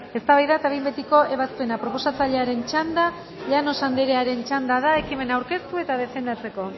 eztabaida eta behin betiko ebazpena proposatzailearen txanda llanos andrearen txanda da ekimena aurkeztu eta defendatzeko